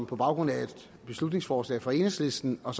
på baggrund af et beslutningsforslag fra enhedslisten og